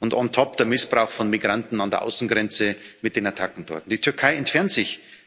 und on top der Missbrauch von Migranten an der Außengrenze mit den Attacken dort. Die Türkei entfernt sich